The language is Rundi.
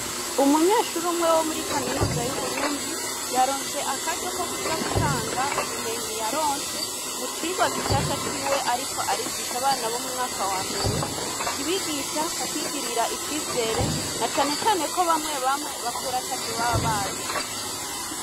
Umunyeshuru umwe wo muri kaminuza y'uburundi yaronse akaryo ko kuja gutanga ubumenyi yaronse mucirwa gishasha ciwe, ariko arigisha abana bo mu mwaka wa mbere kibigisha ku kwigirira icizere na canecane ko bamwe bamwe bakurata vyo baba bazi.